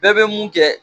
Bɛɛ bɛ mun kɛ